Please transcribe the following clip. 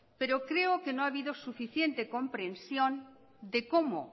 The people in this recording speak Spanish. pero creo que no ha habido suficiente comprensión de cómo